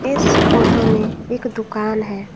इस फोटो में एक दुकान है।